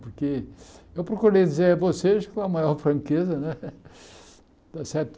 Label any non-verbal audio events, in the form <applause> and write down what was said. Porque eu procurei dizer a vocês com a maior franqueza, né? <laughs> Está certo